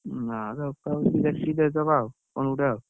ନାଁ ତଥାପି ଦେଖି ଦେଇଦବା ଆଉ, କଣ ଗୋଟେ ଆଉ।